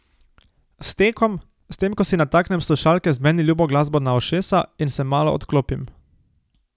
S tekom, s tem ko si nataknem slušalke z meni ljubo glasbo na ušesa in se malo odklopim.